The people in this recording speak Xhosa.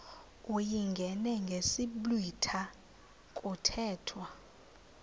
uyingene ngesiblwitha kuthethwa